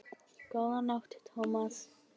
Góða nótt, Thomas